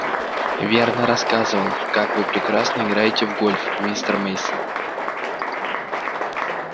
вернон рассказывал как вы прекрасно играете в гольф мистер мейсон